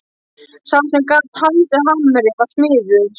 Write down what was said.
Sá sem gat haldið á hamri var smiður.